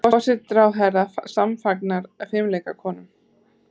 Forsætisráðherra samfagnar fimleikakonum